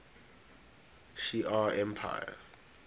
shi ar empire